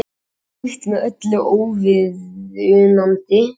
Slíkt er með öllu óviðunandi